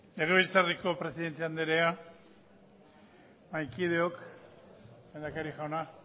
legebiltzarreko presidente anderea mahaikideok lehendakaria jauna